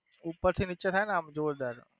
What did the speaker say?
ઉપર થી નીચે થાય ને આમ જોરદાર.